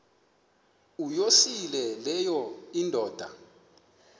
uyosele leyo indoda